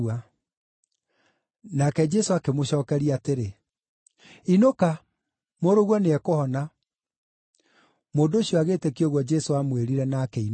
Nake Jesũ akĩmũcookeria atĩrĩ, “Inũka. Mũrũguo nĩekũhona.” Mũndũ ũcio agĩĩtĩkia ũguo Jesũ aamwĩrire, na akĩinũka.